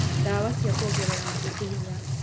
Dawa cia kuongerera mahĩndĩ hinya